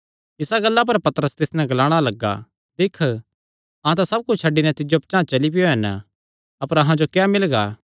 इसा गल्ला पर पतरस तिस नैं ग्लाणा लग्गा दिक्ख अहां तां सब कुच्छ छड्डी नैं तिज्जो पचांह़ चली पैयो हन अपर अहां जो क्या मिलगा